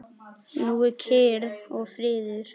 Nú er kyrrð og friður.